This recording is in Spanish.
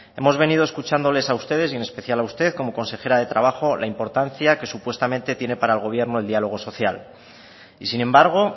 hemos venido escuchándole a ustedes y en especial a usted como consejera de trabajo al importancia que supuesta tiene para el gobierno el diálogo social y sin embargo